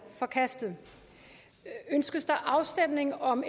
forkastet ønskes der afstemning om